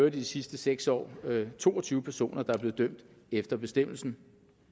i de sidste seks år to og tyve personer der er blevet dømt efter bestemmelsen